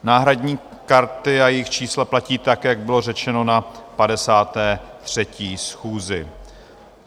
Náhradní karty a jejich čísla platí tak, jak bylo řečeno na 53. schůzi.